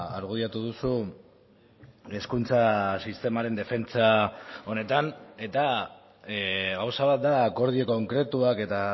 argudiatu duzu hezkuntza sistemaren defentsa honetan eta gauza bat da akordio konkretuak eta